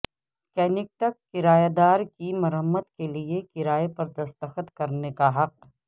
کنیکٹک کرایہ دار کی مرمت کے لئے کرایہ پر دستخط کرنے کا حق